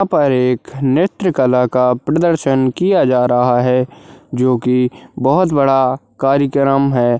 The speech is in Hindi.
यहाँ पर एक नृत्य कला का प्रदर्शन किया जा रहा है जो की बहुत बड़ा कार्यक्रम है।